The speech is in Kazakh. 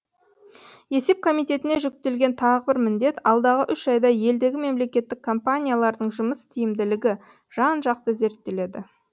есеп комитетіне жүктелген тағы бір міндет алдағы үш айда елдегі мемлекеттік компаниялардың жұмыс тиімділігі жан жақты зерттеледі